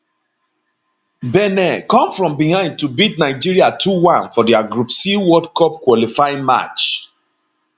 benin come from behind to beat nigeria 21 for dia group c world cup qualifying match